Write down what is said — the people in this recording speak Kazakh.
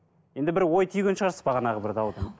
енді бір ой түйген шығарсыз бағанағы бір даудан